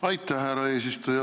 Aitäh, härra eesistuja!